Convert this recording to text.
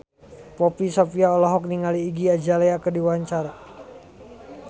Poppy Sovia olohok ningali Iggy Azalea keur diwawancara